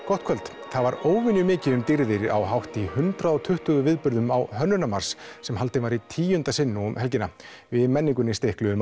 gott kvöld það var óvenju mikið um dýrðir á hátt í hundrað og tuttugu viðburðum á Hönnunarmars sem haldinn var í tíunda sinn nú um helgina við í menningunni